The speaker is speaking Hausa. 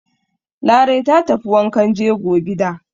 Larai ta tafi wankan jego gida.